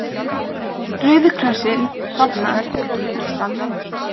Rauði krossinn safnar fyrir Pakistan